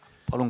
Palun!